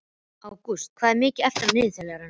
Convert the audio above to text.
Ágústa, hvað er mikið eftir af niðurteljaranum?